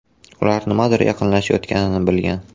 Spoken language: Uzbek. Ular nimadir yaqinlashayotganini bilgan.